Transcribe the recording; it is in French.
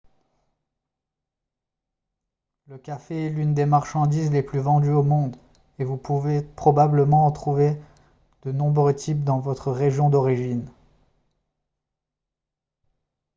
le café est l'une des marchandises les plus vendues au monde et vous pouvez probablement en trouver de nombreux types dans votre région d'origine